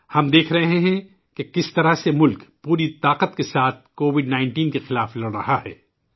ہم دیکھ رہے ہیں کہ ملک کس طرح اپنی پوری قوت کے ساتھ کووڈ 19 سے لڑ رہا ہے